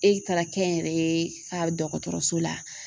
E taara kɛ n yɛrɛ ye ka dɔgɔtɔrɔso la